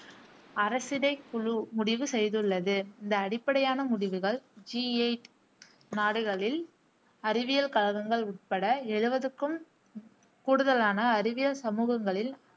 அரசிடைக்குழு முடிவு செய்துள்ளது. இந்த அடிப்படையான முடிவுகள் ஜி எயிட் நாடுகளில் அறிவியல் கழகங்கள் உட்பட எழுவதுக்கும் கூடுதலான அறிவியல் சமூகங்களில்